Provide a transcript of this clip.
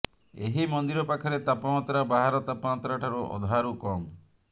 ଏହି ମନ୍ଦିର ପାଖରେ ତାପମାତ୍ରା ବାହାର ତାପମାତ୍ରାଠାରୁ ଅଧାରୁ କମ